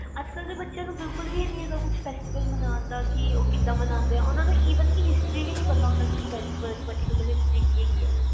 ਅੱਜ ਕਲ ਦੇ ਬਚੇ ਨੂੰ ਬਿਲਕੁਲ ਵੀ ਹੈਨੀ ਗਏ ਕੇ ਕਿਦਾਂ festival ਮੰਨਦੇ ਆ ਓਹਨਾ ਨੂੰ evenhistory ਵੀ ਨੀ ਪਤਾ ਹੁੰਦਾ